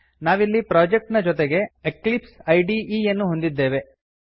ನಾವಿಲ್ಲಿ ಪ್ರೊಜೆಕ್ಟ್ ನ ಜೊತೆಗೆ ಎಕ್ಲಿಪ್ಸೈಡ್ ಯನ್ನು ಹೊಂದಿದ್ದೇವೆ